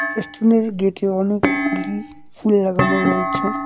গেটে অনেকগুলি ফুল লাগানো রয়েছে।